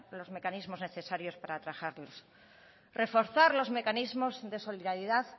los mecanismos necesarios para atajarlos reforzar los mecanismos de solidaridad